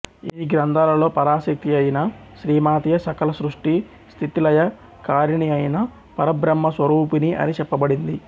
ఈ గ్రంథాలలో పరాశక్తియైన శ్రీమాతయే సకల సృష్టిస్థితిలయకారిణియైన పరబ్రహ్మస్వరూపిణి అని చెప్పబడింది